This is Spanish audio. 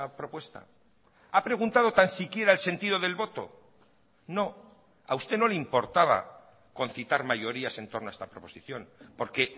propuesta ha preguntado tan siquiera el sentido del voto no a usted no le importaba concitar mayorías en torno a esta proposición porque